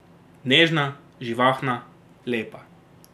Nežna, živahna, lepa.